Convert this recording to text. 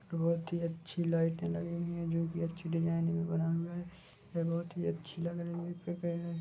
बहुत ही अच्छी लाइटे लगी हुई है जो की अच्छी डिजाइन मे बना हुआ है वे बहुत ही अच्छी लग रही है।